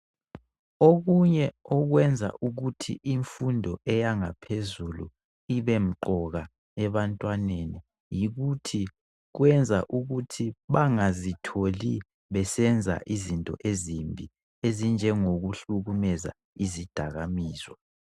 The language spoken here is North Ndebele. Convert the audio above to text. okunye okwenza ukuthi imfundo eyangaphezulu ibemqoka ebantwaneni yikuthi kwenza ukuthi bangazitholi besenza izinto ezimbi ezinjengokuhlumeza izidakamizwa